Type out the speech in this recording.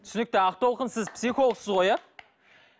түсінікті ақтолқын сіз психологсыз ғой иә